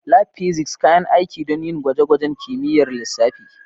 Lab Physics: Kayan aiki don yin gwaje-gwajen kimiyyar lissafi.